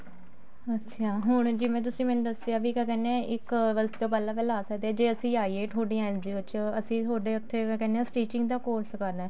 ਅੱਛਿਆ ਹੁਣ ਜਿਵੇਂ ਤੁਸੀਂ ਮੈਨੂੰ ਦੱਸਿਆ ਵੀ ਕਿਆ ਕਹਿਨੇ ਹਾਂ ਇੱਕ ਵਜੇ ਤੋਂ ਪਹਿਲਾਂ ਪਹਿਲਾਂ ਆਈਏ ਥੋਡੀ NGO ਚ ਅਸੀਂ ਥੋਡੇ ਉੱਥੇ ਕਿਆ ਕਹਿਨੇ ਆਂ stitching ਦਾ course ਕਰਨਾ